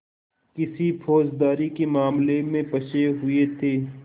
किसी फौजदारी के मामले में फँसे हुए थे